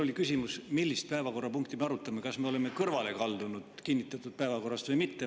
Mul oli küsimus, millist päevakorrapunkti me arutame, kas me oleme kinnitatud päevakorrast kõrvale kaldunud või mitte.